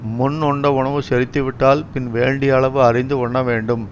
முன் உண்ட உணவு செரித்துவிட்டால் பின் வேண்டிய அளவு அறிந்து உண்ணவேண்டும்